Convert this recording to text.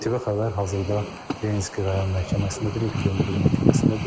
ATV Xəbər hazırda Yekaterinburq məhkəməsindədir, Yekaterinburq məhkəməsindədir.